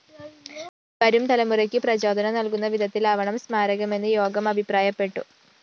വരും തലമുറയ്ക്ക് പ്രചോദനം നല്‍കുന്ന വിധത്തിലാവണം സ്മാരകമെന്ന് യോഗം അഭിപ്രായപ്പെട്ടു